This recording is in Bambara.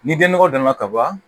Ni den nɔgɔ danna ka ban